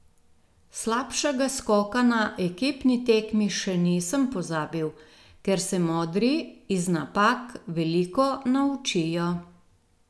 Slabšega skoka na ekipni tekmi še nisem pozabil, ker se modri iz napak veliko naučijo.